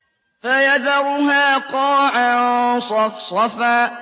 فَيَذَرُهَا قَاعًا صَفْصَفًا